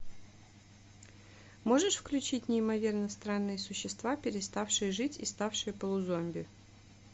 можешь включить неимоверно странные существа переставшие жить и ставшие полузомби